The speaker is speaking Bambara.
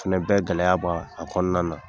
Finɛ bɛ gɛlɛya bɔ a kɔnɔna na